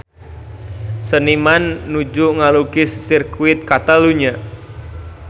Seniman nuju ngalukis Sirkuit Catalunya